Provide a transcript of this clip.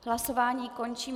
Hlasování končím.